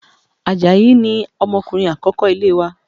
Àjàyí ni ọmọkùnrin akoko ilé wa